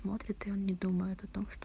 смотрит и он не думает о том что